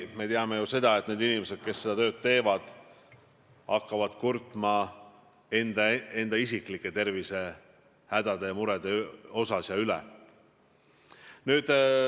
Me teame ju seda, et need inimesed, kes seda tööd teevad, hakkavad sageli kurtma isiklike tervisehädade ja -murede üle.